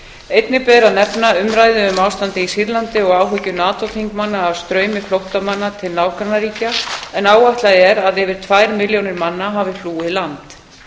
einnig ber að nefna umræðu um ástandið í sýrlandi og áhyggjur nato þingmanna af straumi flóttamanna til nágrannaríkja en áætlað er að yfir tvær milljónir manna hafi flúið land